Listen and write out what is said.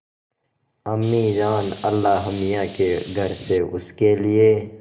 अम्मीजान अल्लाहमियाँ के घर से उसके लिए